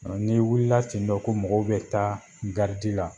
n'i wulila ten tɔ ko mɔgɔw bɛ taa garidi la